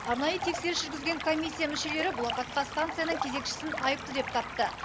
арнайы тексеріс жүргізген комиссия мүшелері бұл апатқа станцияның кезекшісін айыпты деп тапты